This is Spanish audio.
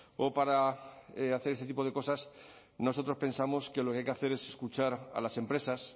o para hacer este tipo de cosas nosotros pensamos que lo que hay que hacer es escuchar a las empresas